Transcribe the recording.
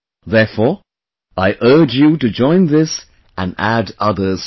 Therefore, I urge you to join this and add others too